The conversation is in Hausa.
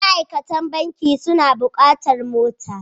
Ma'aikatan banki suna buƙatar mota.